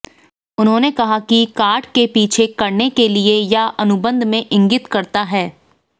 उन्होंने कहा कि कार्ड के पीछे करने के लिए या अनुबंध में इंगित करता है